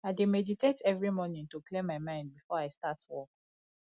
i dey meditate every morning to clear my mind before i start work